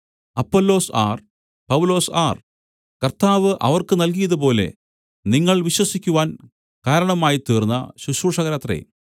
Apollos ആർ പൗലൊസ് ആർ കർത്താവ് അവർക്ക് നൽകിയതുപോലെ നിങ്ങൾ വിശ്വസിക്കുവാൻ കാരണമായിത്തീർന്ന ശുശ്രൂഷകരത്രേ